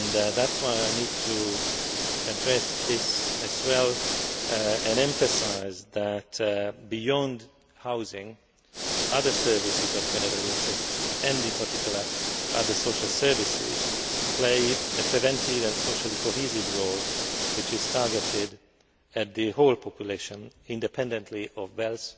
That is why I need to address this as well and emphasise that beyond housing, other services of general interest and, in particular, other social services play a preventive and socially cohesive role which is targeted at the whole population independently of wealth